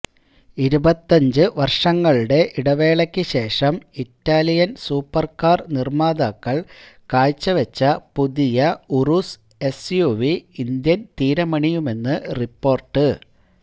ഇരുപത്തഞ്ച് വര്ഷങ്ങളുടെ ഇടവേളയ്ക്ക് ശേഷം ഇറ്റാലിയന് സൂപ്പര്കാര് നിര്മ്മാതാക്കള് കാഴ്ചവെച്ച പുതിയ ഉറൂസ് എസ്യുവി ഇന്ത്യന് തീരമണയുമെന്ന് റിപ്പോര്ട്ട്